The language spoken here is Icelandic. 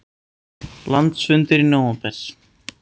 Landsfundur í nóvember